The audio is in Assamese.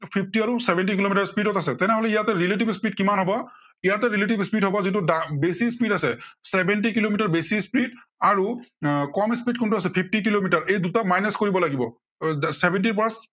fifty আৰু seventy কিলোমিটাৰ speed ত আছে, তেনেহলে ইয়াতে relative speed কিমান হব, ইয়াতে relative speed হব, যিটো বেছি speed আছে, seventy কিলোমিটাৰ বেছি speed আৰু আহ কম speed কোনটো আছে fifty কিলোমিটাৰ। এই দুটা minus কৰিব লাগিব। আহ seventy ৰ পৰা